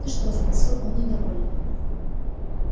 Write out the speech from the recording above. ты что спросил он недовольно